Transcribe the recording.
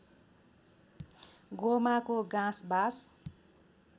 गोमाको गाँस बास